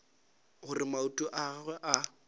gore maoto a gagwe a